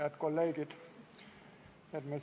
Head kolleegid!